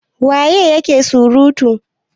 waye yake surutu!